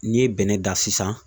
N'i ye bɛnɛ dan sisan